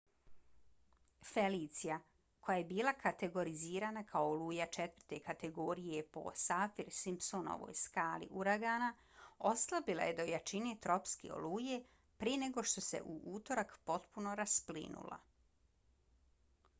felicia koja je bila kategorizirana kao oluja 4. kategorije po saffir-simpsonovoj skali uragana oslabila je do jačine tropske oluje prije nego što se u utorak potpuno rasplinula